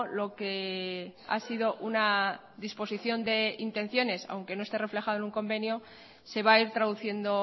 lo que ha sido una disposición de intenciones aunque no esté reflejado en un convenio se va a ir traduciendo